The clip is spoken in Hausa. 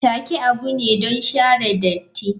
Take abu ne don share datti.